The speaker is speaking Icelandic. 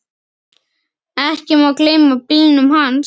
Ekki má gleyma bílunum hans.